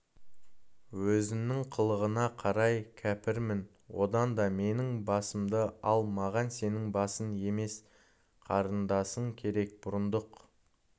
өзінің қылығына қарай кәпірмін одан да менің басымды ал маған сенің басың емес қарындасың керек бұрындық